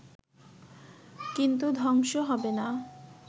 কিন্তু ধ্বংস হবে না